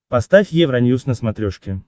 поставь евроньюс на смотрешке